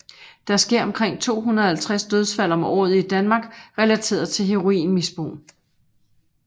Der sker omkring 250 dødsfald om året i Danmark relateret til heroinmisbrug